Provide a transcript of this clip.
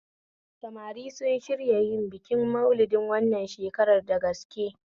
Samari sun shirya yin bikin Malidi wannan shakarar da gaske